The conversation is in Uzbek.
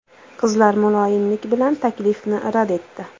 Qizlar muloyimlik bilan taklifni rad etdi.